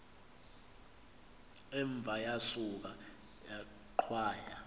umva yasuka yaqhwaya